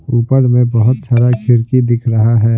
ऊपर में बहुत सारा खिड़की दिख रहा है।